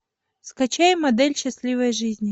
скачай модель счастливой жизни